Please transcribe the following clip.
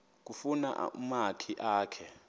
kufuna umakhi akhe